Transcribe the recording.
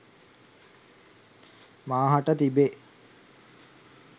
මා හට තිබේ.